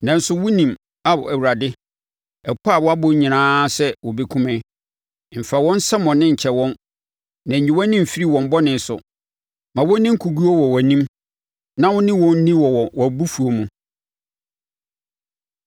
Nanso wonim Ao, Awurade, ɛpɔ a wɔabɔ nyinaa sɛ wɔbɛkum me. Mfa wɔn nsɛmmɔne nkyɛ wɔn, na nyi wʼani mfiri wɔn bɔne so. Ma wɔnni nkoguo wɔ wʼanim; na wo ne wɔn nni wɔ wʼabofuo mu.